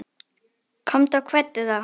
Komdu og kveddu þá.